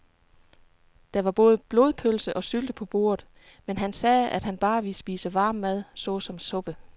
Der var både blodpølse og sylte på bordet, men han sagde, at han bare ville spise varm mad såsom suppe.